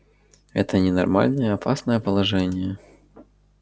это ненормальное опасное положение